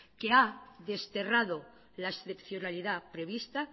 que ha desterrado la excepcionalidad prevista